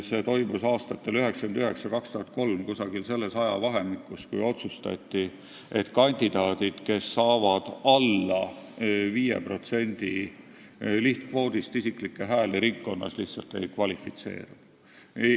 See toimus aastatel 1999–2003, umbes selles ajavahemikus otsustati, et kandidaadid, kes saavad hääli alla 5% ringkonna lihtkvoodist, lihtsalt ei kvalifitseeru.